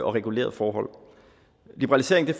regulerede forhold liberalisering